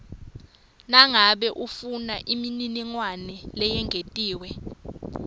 nangabe ufunaimininingwane leyengetiwe